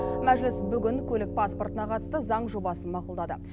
мәжіліс бүгін көлік паспортына қатысты заң жобасын мақұлдады